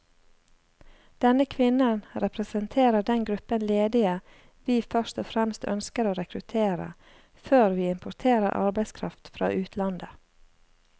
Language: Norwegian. Denne kvinnen representerer den gruppen ledige vi først og fremst ønsker å rekruttere, før vi importerer arbeidskraft fra utlandet.